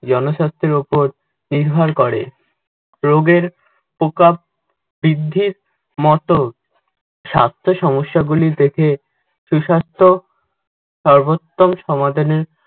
জনস্বার্থের ওপর নির্ভর করে। রোগের প্রকোপ বৃদ্ধির মত স্বাস্থ্য সমস্যাগুলি থেকে সুস্বাস্থ্য সর্বোত্তম সমাধানের